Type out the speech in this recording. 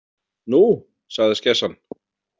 Nú, sagði skessan.